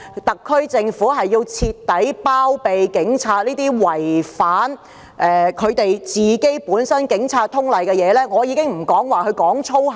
特區政府是否要徹底包庇這些違反《警察通例》的警察？